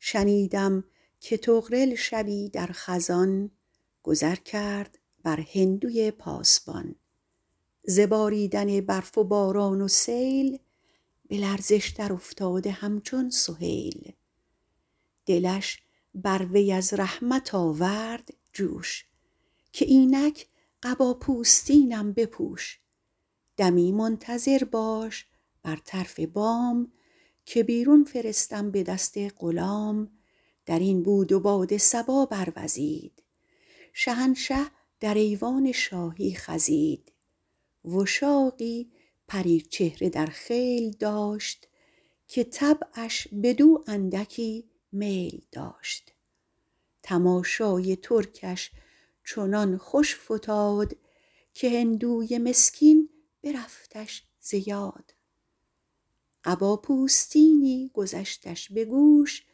شنیدم که طغرل شبی در خزان گذر کرد بر هندوی پاسبان ز باریدن برف و باران و سیل به لرزش در افتاده همچون سهیل دلش بر وی از رحمت آورد جوش که اینک قبا پوستینم بپوش دمی منتظر باش بر طرف بام که بیرون فرستم به دست غلام در این بود و باد صبا بروزید شهنشه در ایوان شاهی خزید وشاقی پری چهره در خیل داشت که طبعش بدو اندکی میل داشت تماشای ترکش چنان خوش فتاد که هندوی مسکین برفتش ز یاد قبا پوستینی گذشتش به گوش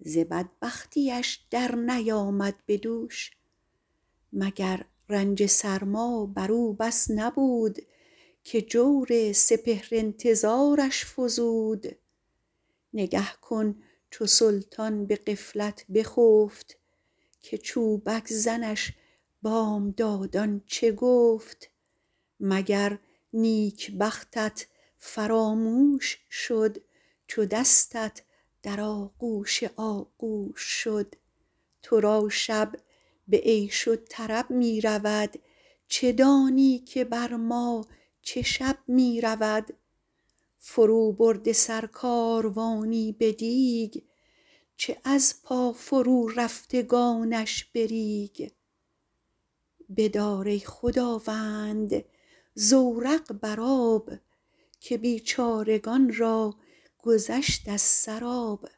ز بدبختیش در نیامد به دوش مگر رنج سرما بر او بس نبود که جور سپهر انتظارش فزود نگه کن چو سلطان به غفلت بخفت که چوبک زنش بامدادان چه گفت مگر نیکبختت فراموش شد چو دستت در آغوش آغوش شد تو را شب به عیش و طرب می رود چه دانی که بر ما چه شب می رود فرو برده سر کاروانی به دیگ چه از پا فرو رفتگانش به ریگ بدار ای خداوند زورق بر آب که بیچارگان را گذشت از سر آب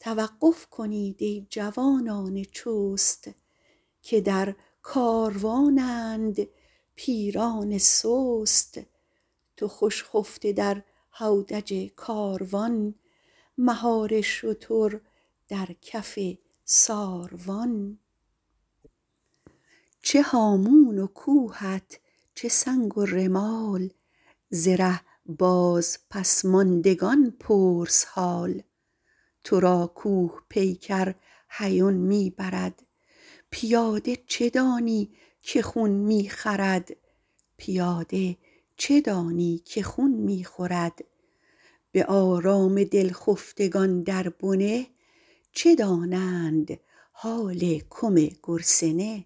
توقف کنید ای جوانان چست که در کاروانند پیران سست تو خوش خفته در هودج کاروان مهار شتر در کف ساروان چه هامون و کوهت چه سنگ و رمال ز ره باز پس ماندگان پرس حال تو را کوه پیکر هیون می برد پیاده چه دانی که خون می خورد به آرام دل خفتگان در بنه چه دانند حال کم گرسنه